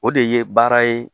O de ye baara ye